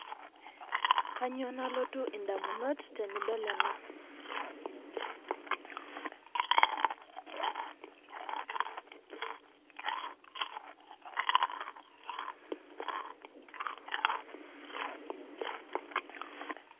Kainyio nalotu edamunot tenidol ena